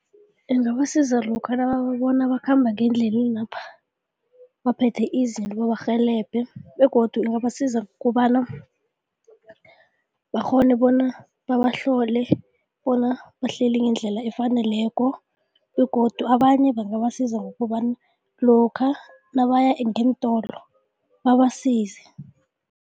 Ingabasiza lokha nababona bakhamba ngeendlelenapha baphethe izinto babarhelebhe begodu ingabasiza kobana bakghone bona babahlole bona bahleli ngendlela efaneleko begodu abanye bangabasiza ngokobana lokha nabaya ngeentolo babasize.